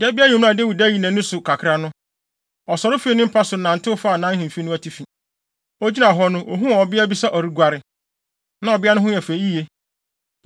Da bi anwummere a Dawid ayi nʼani so kakra no, ɔsɔre fii ne mpa so nantew faa nʼahemfi no atifi. Ogyina hɔ no, ohuu ɔbea bi sɛ ɔreguare. Na ɔbea no ho yɛ fɛ yiye;